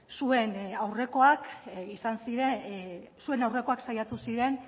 zuen aurrekoak saiatu ziren